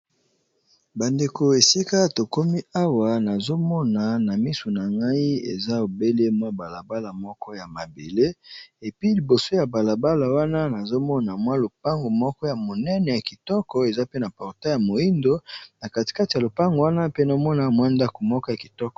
bandeko esika tokomi awa nazomona na misu na ngai eza obelemwa balabala moko ya mabele epi liboso ya balabala wana nazomona mwa lopango moko ya monene ya kitoko eza pe na portai ya moindo na katikate ya lopango wana pe nomona mwendaku moka ya kitoko